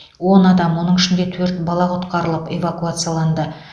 он адам оның ішінде төрт бала құтқарылып эвакуацияланды